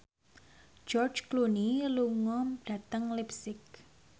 George Clooney lunga dhateng leipzig